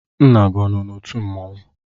Nna gi no na otu mmanwụ?